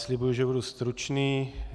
Slibuji, že budu stručný.